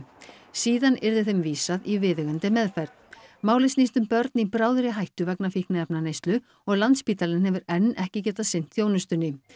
síðan yrði þeim vísað í viðeigandi meðferð málið snýst um börn í bráðri hættu vegna fíkniefnaneyslu og Landspítalinn hefur enn ekki getað sinnt þjónustunni